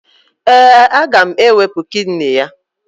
Ee, aga m ewepu kidini ya